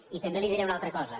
i també li diré una altra cosa